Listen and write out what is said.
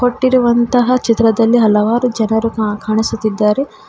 ಕೊಟ್ಟಿರುವಂತಹ ಚಿತ್ರದಲ್ಲಿ ಹಲವಾರು ಜನರು ಕಾಣಿಸುತ್ತಿದ್ದಾರೆ.